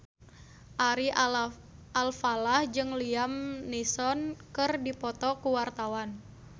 Ari Alfalah jeung Liam Neeson keur dipoto ku wartawan